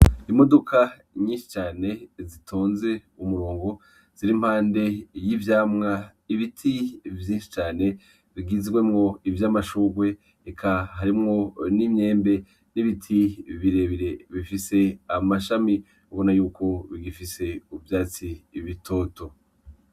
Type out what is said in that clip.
Imodoka nyishi cane zitonze umurongo ziri impande y'ivyamwa ibiti vyishi cane bigizwemwo ivyamashurwe eka harimwo n'imyembe n'ibiti birebire bifise amashami ubona yuko bigifise ivyatsi bitoto.